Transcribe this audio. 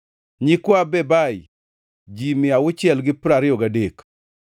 nyikwa Bebai, ji mia auchiel gi piero ariyo gadek (623),